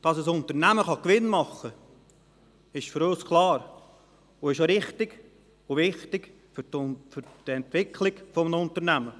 Dass ein Unternehmen Gewinn machen kann, ist für uns klar und auch richtig und wichtig für die Entwicklung eines Unternehmens.